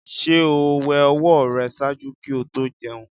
Ṣe o wẹ ọwọ rẹ ṣaaju ki o to jẹun?